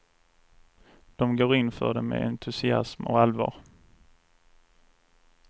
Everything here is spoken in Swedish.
De går in för det med entusiasm och allvar.